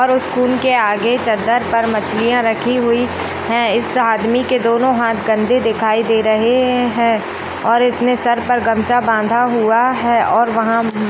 school की आगे चद्दर पर मछलियाँ रखी हुई है इस आदमी की दोनो हाथ गन्दे दिखाई दी रहे हैं और इसने सर पर गमछा बांधा हुआ है और वहाँ --